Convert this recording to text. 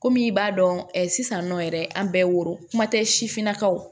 Komi i b'a dɔn sisan nɔ yɛrɛ an bɛ woro kuma tɛ sifinnakaw